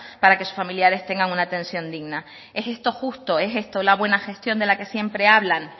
para que sus familiares tengan una atención digna es esto justo es esto la buena gestión de la que siempre hablan